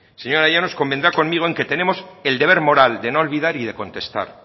señora llanos convendrá conmigo en que tenemos el deber moral de no olvidar y de contestar